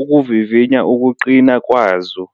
ukuvivinya ukuqina kwazo.